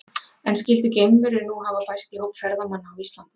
En skyldu geimverur nú hafa bæst í hóp ferðamanna á Íslandi?